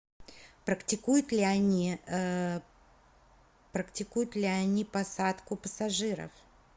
практикуют ли они практикуют ли они посадку пассажиров